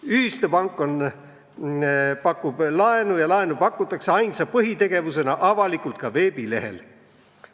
" Ühistupank pakub laenu ja laenu pakutakse ainsa põhitegevusena avalikult ka veebilehel.